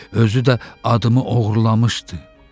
Özü də adımı oğurlamışdı.